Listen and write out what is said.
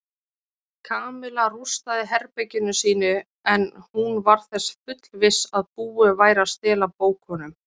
Kamilla rústaði herberginu sínu en hún var þess fullviss að búið væri að stela bókunum.